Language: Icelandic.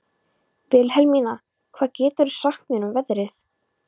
Vilhelmína, hvað geturðu sagt mér um veðrið?